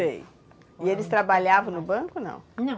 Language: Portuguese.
Sei. E eles trabalhavam no banco ou não? Não.